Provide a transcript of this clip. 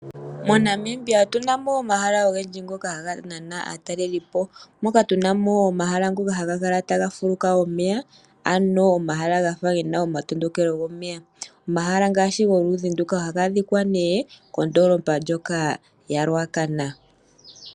MoNamibia otu na mo omahala ogendji ngoka haga nana aatalelipo moka tu na mo omahala ngoka haga kala taga fuluka omeya, ano omahala ga fa ge na omatondokelo gomeya. Omahala ngaashi goludhi nduka ohaga adhika nee kondoolopa ndjoka yaRuacana.